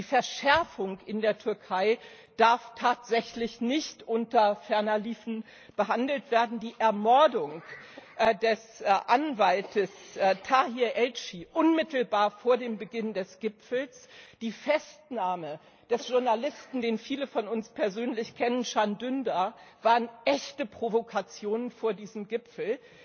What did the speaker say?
Die Verschärfung in der Türkei darf tatsächlich nicht unter ferner liefen behandelt werden. Die Ermordung des Anwalts Tahir Elçi unmittelbar vor dem Beginn des Gipfels, die Festnahme des Journalisten Can Dündar, den viele von uns persönlich kennen, waren echte Provokationen vor diesem Gipfel.